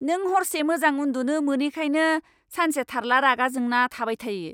नों हरसे मोजां उन्दुनो मोनैखायनो सानसे थार्ला रागा जोंना थाबाय थायो।